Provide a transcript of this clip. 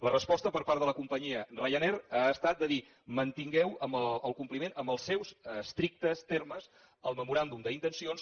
la resposta per part de la companyia ryanair ha estat de dir mantingueu el compliment amb els seus estrictes termes al memoràndum d’intencions